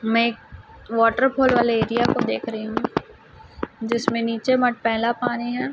मै एक waterfall वाले area को देख रही हूं जिसमें नीचे मटमैला पानी है।